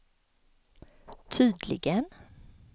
tydligen